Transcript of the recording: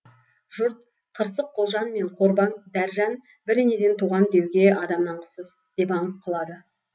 жұрт қырсық құлжан мен қорбаң дәржан бір енеден туған деуге адам нанғысыз деп аңыз қылады